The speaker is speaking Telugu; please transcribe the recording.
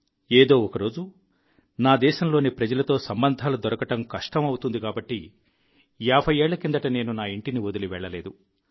ఏదో ఒకరోజు నా స్వదేశంలోని ప్రజలతో మైత్రి దొరకడం కష్టం అవుతుంది కాబట్టి యాభయ్యేళ్ల కిందట నేను నా ఇంటిని వదిలి వెళ్ళలేదు